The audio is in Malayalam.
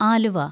ആലുവ